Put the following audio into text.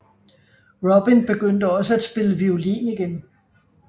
Robin begyndte også at spille violin igen